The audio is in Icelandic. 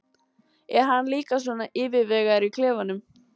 Er hann líka svona yfirvegaður í klefanum?